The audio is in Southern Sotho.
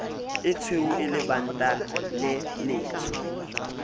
etshweu e lebanta le letsho